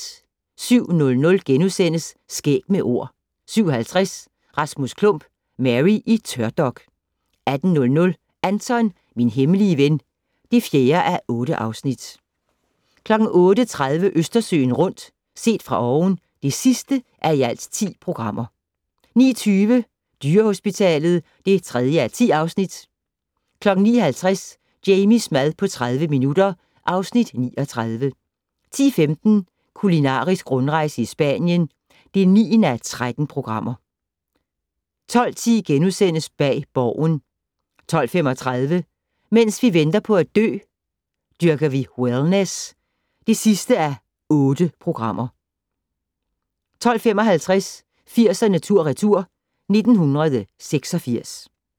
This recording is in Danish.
07:00: Skæg med Ord * 07:50: Rasmus Klump - Mary i tørdok 08:00: Anton - min hemmelige ven (4:8) 08:30: Østersøen rundt - set fra oven (10:10) 09:20: Dyrehospitalet (3:10) 09:50: Jamies mad på 30 minutter (Afs. 39) 10:15: Kulinarisk rundrejse i Spanien (9:13) 12:10: Bag Borgen * 12:35: Mens vi venter på at dø - Dyrker vi wellness (8:8) 12:55: 80'erne tur/retur: 1986